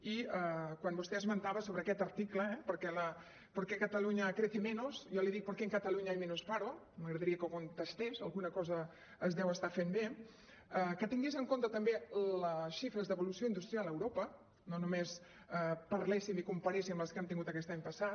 i quan vostè esmentava sobre aquest article eh por qué cataluña crece menos jo li dic por qué en cataluña hay menos paro m’agradaria que ho contestés alguna cosa es deu estar fent bé que tingués en compte també les xifres d’evolució industrial a europa no només parléssim i comparéssim amb les que hem tingut aquest any passat